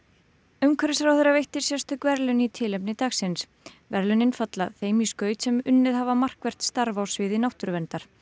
umhverfisráðherra veitti sérstök verðlaun í tilefni dagsins verðlaunin falla þeim í skaut sem unnið hafa markvert starf á sviði náttúruverndar